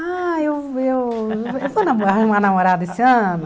Ah, eu eu vou arrumar namorada esse ano.